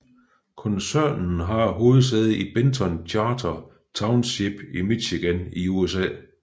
Koncernen har hovedsæde i Benton Charter Township i Michigan i USA